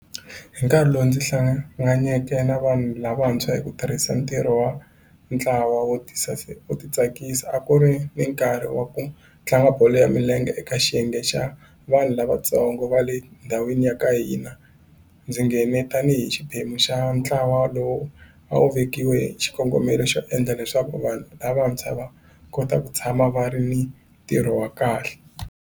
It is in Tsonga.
Hi nkarhi lowu ndzi hlanganeke na vanhu lavantshwa hi ku tirhisa ntirho wa ntlawa wo tisa u titsakisa a ku ri ni nkarhi wa ku tlanga bolo ya milenge eka xiyenge xa vanhu lavatsongo va le ndhawini ya ka hina ndzi nghene tanihi xiphemu xa ntlawa lowu a wu vekiweke xikongomelo xo endla leswaku vanhu lavantshwa va kota ku tshama va ri ni ntirho wa kahle.